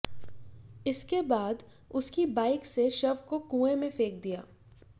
इसके बाद उसकी बाइक से शव को कुएं में फेंक दिया